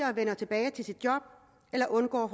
tilbage til jobbet eller undgår